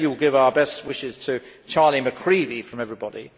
We know you will give our best wishes to Charlie McCreevy from everybody.